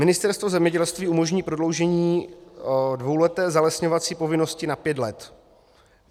Ministerstvo zemědělství umožní prodloužení dvouleté zalesňovací povinnosti na pět let.